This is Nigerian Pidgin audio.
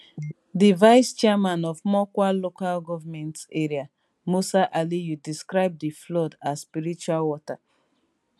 di vice chairman of mokwa local goment area musa aliyu describe di flood as spiritual water